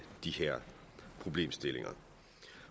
de her problemstillinger